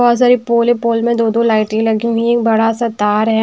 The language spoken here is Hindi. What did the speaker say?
बहोत सारी पोल ही पोल में दो-दो लाइटे लगी हुई बड़ा सा तार है।